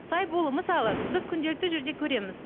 сай болу мысалы біз күнделікті жерде көреміз